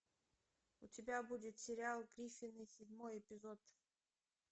у тебя будет сериал гриффины седьмой эпизод